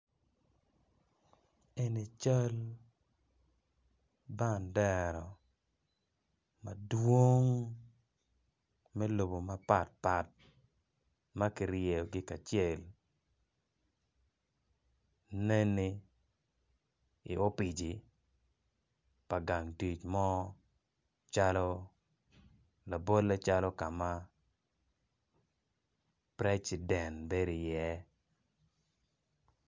Eni cal bandera ma dwong me lobo mapatpat ma kiryeyogi kacel neni opici pa gang tic mo calo labole calo ka ma preciden bedo iye.